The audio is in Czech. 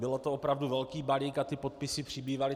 Byl to opravdu veliký balík a ty podpisy přibývaly.